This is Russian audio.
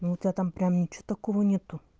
ну у тебя там прям ничего такого нету